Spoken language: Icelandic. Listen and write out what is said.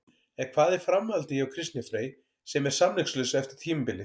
En hvað er framhaldið hjá Kristni Frey sem er samningslaus eftir tímabilið?